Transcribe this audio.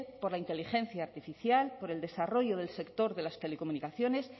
por la inteligencia artificial por el desarrollo del sector de las telecomunicaciones